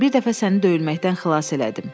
Bir dəfə səni döyülməkdən xilas elədim.